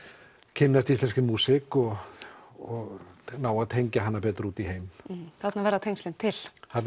kynnast íslenskri músík og og ná að tengja hana aðeins betur út í heim þarna verða tengslin til þarna